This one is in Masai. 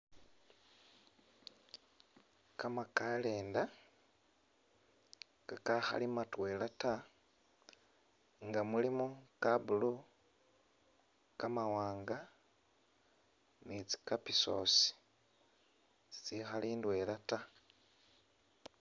Kamakalenda kakakhali matwela ta nga mulimo ka blue, kamawanga ne tsi kapisosi tsitsikhali ndwela ta.